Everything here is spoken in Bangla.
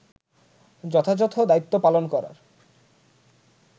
যথাযথ দায়িত্ব পালন করার